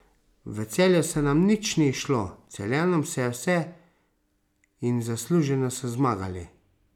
V Celju se nam nič ni izšlo, Celjanom se je vse in zasluženo so zmagali.